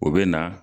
O bɛ na